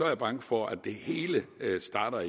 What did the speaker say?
jeg bange for at det hele starter